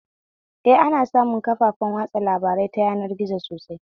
Eh, ana samun kafafen watsa labarai ta yanar gizo sosai